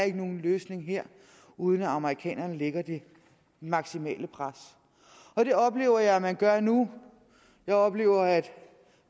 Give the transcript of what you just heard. er nogen løsning her uden at amerikanerne lægger det maksimale pres det oplever jeg at man gør nu jeg oplever at